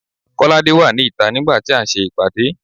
Kolade wà ní ìta nigba ti a n se ìpàdé